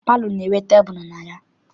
Palọ na- enwe tebulu na ya.